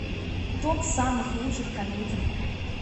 топ самых лучших комедий